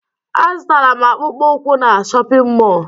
Azụtara m akpụkpọụkwụ na shọpịn mọọ